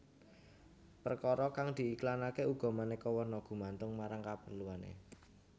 Perkara kang diiklanke uga maneka warna gumantung marang kaperluane